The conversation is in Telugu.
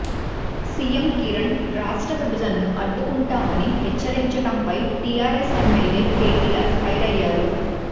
సీఎం కిరణ్ రాష్ట్ర విభజనను అడ్డుకుంటామని హెచ్చరించడంపై టీఆర్ఎస్ ఎమ్మెల్యే కేటీఆర్ ఫైర్ అయ్యారు